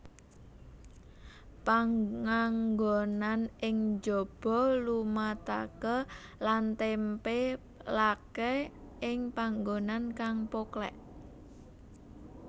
Panganggonan ing jaba lumataké lan tèmpèlaké ing panggonan kang poklèk